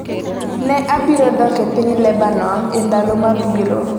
Ne abiro dok e piny Lebanon e ndalo mabiro.